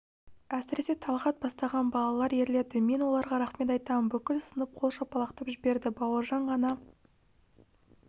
әсіресе талғат бастаған балалар ерледі мен оларға рақмет айтамын бүкіл сынып қол шапалақтап жіберді бауыржан ғана